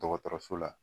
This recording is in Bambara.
Dɔgɔtɔrɔso la